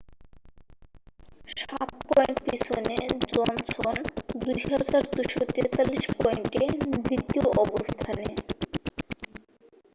7 point পিছনে Johnson 2,243 পয়েন্টে দ্বিতীয় অবস্থানে